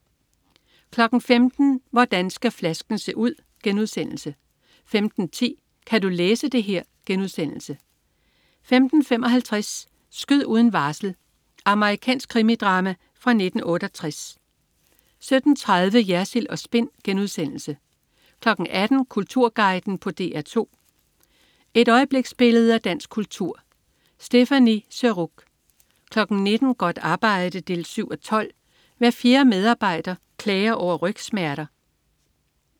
15.00 Hvordan skal flasken se ud?* 15.10 Kan du læse det her?* 15.55 Skyd uden varsel. Amerikansk krimidrama fra 1968 17.30 Jersild & Spin* 18.00 Kulturguiden på DR2. Et øjebliksbillede af dansk kultur. Stéphanie Surrugue 19.00 Godt arbejde 7:12. Hver fjerde medarbejder klager over rygsmerter